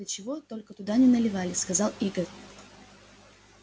да чего только туда не наливали сказал игорь